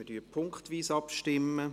Wir stimmen punkteweise ab.